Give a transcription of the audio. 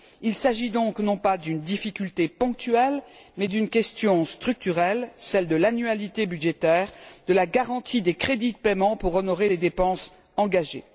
Il s'agit donc non pas d'une difficulté ponctuelle, mais d'une question structurelle, celle de l'annualité budgétaire, de la garantie des crédits de paiement pour honorer les dépenses engagées.